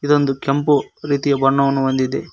ಇದೊಂದು ಕೆಂಪು ರೀತಿಯ ಬಣ್ಣವನ್ನು ಹೊಂದಿದೆ.